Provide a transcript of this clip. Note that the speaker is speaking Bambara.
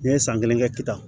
N'i ye san kelen kɛ k'i tan